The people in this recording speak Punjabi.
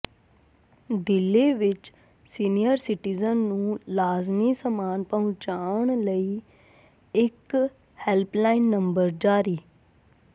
ਦਿੱਲੀ ਵਿਚ ਸੀਨੀਅਰ ਸਿਟੀਜ਼ਨ ਨੂੰ ਲਾਜ਼ਮੀ ਸਮਾਨ ਪਹੁੰਚਾਉਣ ਲਈ ਇਕ ਹੈਲਪਲਾਈਨ ਨੰਬਰ ਜਾਰੀ